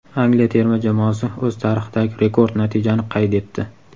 Angliya terma jamoasi o‘z tarixidagi rekord natijani qayd etdi.